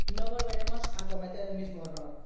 No volveremos a cometer el mismo error.